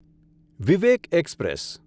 Vivek express